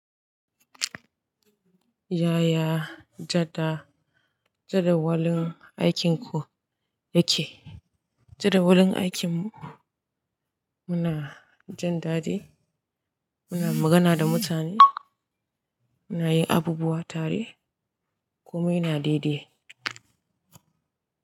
Ya ya jadawalin aikin ku yake? Jadawalin aikinmu, muna jin daɗi, muna magana da mutane, muna yin abubuwa tare kume yana daidai.